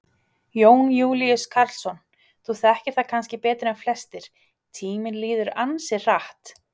Jón Júlíus Karlsson: Þú þekkir það kannski betur en flestir, tíminn líður ansi hratt?